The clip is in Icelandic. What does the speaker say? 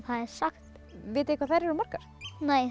það er sagt vitið þið hvað þær eru margar